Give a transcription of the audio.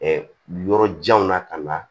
yɔrɔ janw na ka na